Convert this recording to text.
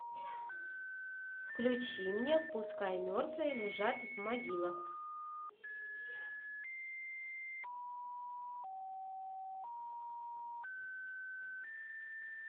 включи мне пускай мертвые лежат в могилах